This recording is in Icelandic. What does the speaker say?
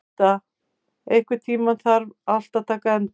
Inda, einhvern tímann þarf allt að taka enda.